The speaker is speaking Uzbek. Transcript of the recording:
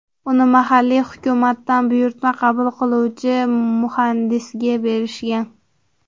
Uni mahalliy hukumatdan buyurtma qabul qiluvchi muhandisga berishgan.